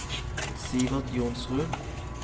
Sivert Johnsrud